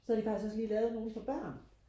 så har de faktsik også lige lavet nogle for børn